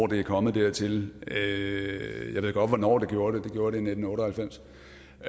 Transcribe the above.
det er kommet dertil jeg ved godt hvornår det gjorde det det gjorde det i nitten otte og halvfems